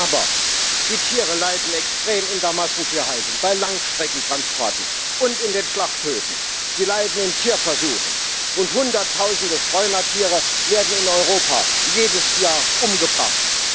Aber die Tiere leiden extrem in der Massentierhaltung, bei Langstreckentransporten und in den Schlachthöfen. Sie leiden in Tierversuchen, und Hunderttausende Streunertiere werden in Europa jedes Jahr umgebracht.